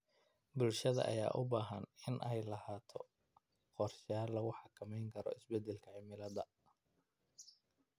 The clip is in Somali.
Bulshada ayaa u baahan in ay lahaato qorshayaal lagu xakameynayo isbedelka cimilada.